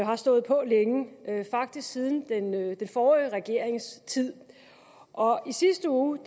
har stået på længe faktisk siden den forrige regerings tid og i sidste uge